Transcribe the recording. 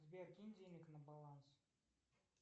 сбер кинь денег на баланс